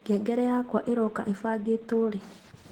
ngengere yakwa iroka ĩbangĩtwo rĩ